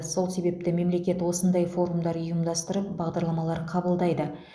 сол себепті мемлекет осындай форумдар ұйымдастырып бағдарламалар қабылдайды